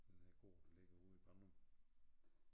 Den her gård der ligger ude i Ballum